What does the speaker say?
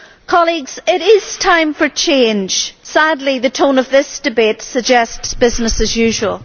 Colleagues, it is time for change. Sadly the tone of this debate suggests business as usual.